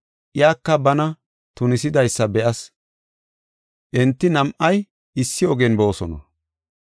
Iyaka bana tunisidaysa be7as; enti nam7ay issi ogen boosona.”